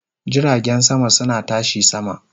Jiragen sama suna tashi sama